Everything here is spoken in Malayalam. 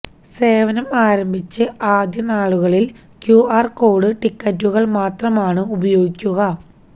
സേവനം ആരംഭിച്ച് ആദ്യ നാളുകളില് ക്യുആര് കോഡ് ടിക്കറ്റുകള് മാത്രമാണ് ഉപയോഗിക്കുക